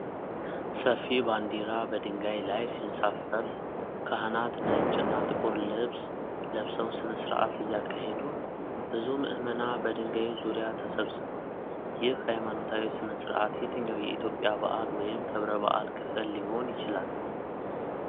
ሰፊ ባንዲራ በድንጋይ ላይ ሲንሳፈፍ ካህናት ነጭ እና ጥቁር ልብስ ለብሰው ሥነ ሥርዓት እያካሄዱ ነው። ብዙ ምዕመናን በድንጋዩ ዙሪያ ተሰብስበዋል። ይህ ሃይማኖታዊ ሥነ ሥርዓት የትኛው የኢትዮጵያ በዓል ወይም ክብረ በዓል ክፍል ሊሆን ይችላል?